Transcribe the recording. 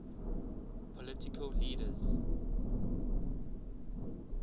political leaders